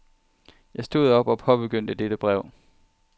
Jeg stod op og påbegyndte dette brev.